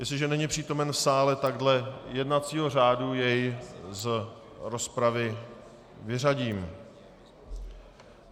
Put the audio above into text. Jestliže není přítomen v sále, tak dle jednacího řádu jej z rozpravy vyřadím.